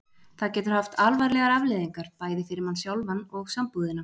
Það getur haft alvarlegar afleiðingar, bæði fyrir mann sjálfan og sambúðina.